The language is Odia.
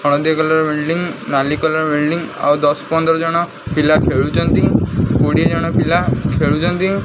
ହଳଦିଆ କଲର ବିଲଡିଂ ନାଲି କଲର ବିଲଡିଂ ଆଉ ଦଶ ପନ୍ଦର ଜଣ ପିଲା ଖେଳୁଛନ୍ତି କୋଡ଼ିଏ ଜଣ ପିଲା ଖେଳୁଛନ୍ତି।